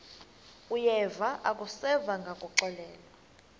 uyeva akuseva ngakuxelelwa